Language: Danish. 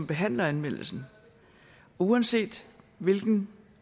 behandler anmeldelsen og uanset hvilket